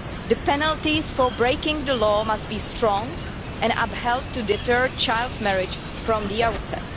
The penalties for breaking the law must be strong and upheld to deter child marriage from the outset.